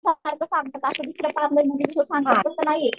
असं दुसरं तसं नाहीये.